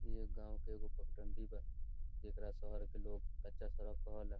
इ जे गांव के एगो पगडण्डी बा जेकरा शहर के लोग कच्चा सड़क कहेला।